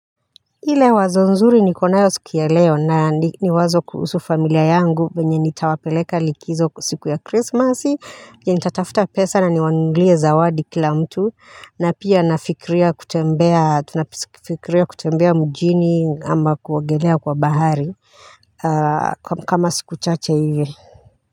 Ile wazo nzuri nikonayo siki ya leo na ni wazo kuhusu familia yangu venye nitawapeleka likizo siku ya krismasi yenye nitatafta pesa na niwanunulie zawadi kila mtu na pia nafikiria kutembea tunafikiria kutembea mjini ama kuogelea kwa bahari kama siku chache hivi.